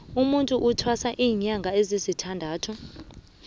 umutu uthwasa linyanga ezisithandathu